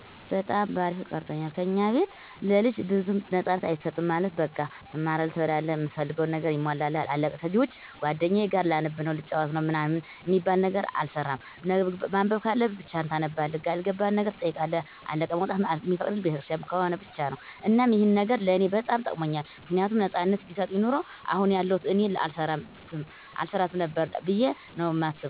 በጣም በአሪፉ ቀርፆኛል። ከኛ ቤት ለልጅ ብዙም ነፃነት አይሰጥም ማለት በቃ ትማራለህ፣ ትበላላህ፣ እምትፈልገው ነገር ይሟላልሃል አለቀ ከዚህ ውጭ ጓደኛዬ ጋር ላነብ ነው፣ ልጫወት ነው ምናምን አሚባል ነገር አይሰራም። ማንበብ ካለብህ ብቻህን ታነባለህ ያልገባህን ነገር ትጠይቃለህ አለቀ። መውጣት እሚፈቀድልን ቤተክርስቲያን ከሆነ ብቻ ነው። እናም ይህ ነገር ለኔ በጣም ጠቅሞኛል ምክንያቱም ነፃነት ቢሰጠኝ ኑሮ አሁን ያለሁት እኔን አልሰራትም ነበር ብዬ ነው ማስበው